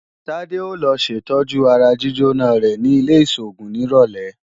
Tádé ó lọ ṣètọ́jú ara jíjóná rẹ̀ ní ilé-ìṣògùn nírọ̀lẹ́